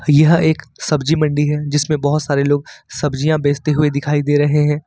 यह एक सब्जी मंडी है जिसमें बहुत सारे लोग सब्जियां बेचते हुए दिखाई दे रहे हैं।